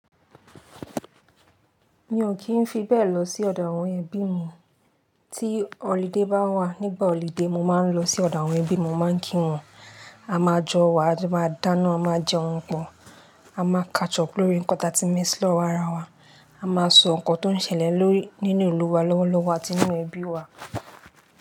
Mi ò kí ń fi bẹ́ẹ̀ lọ sí ọ̀dọ̀ àwọn ẹbí mi. Tí holiday bá wà, nígbà holiday, mo máa ń lọ sí ọ̀dọ̀ àwọn ẹbí mi, mo máa ń kí wọ́n. A máa jọ wà, a jo ma dáná, a máa jẹ oúnjẹ pọ̀, a máa kàchọ̀pù lórí ńkan ta tí ń miss lọ́wọ́ ara wa, a máa sọ nǹkan tó ń ṣẹlẹ̀ nínú ìlú wa lọ́wọ́lọ́wọ́ àti nínú ẹbí wa.